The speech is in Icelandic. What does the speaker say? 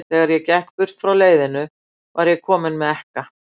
Þegar ég gekk burt frá leiðinu, var ég kominn með ekka.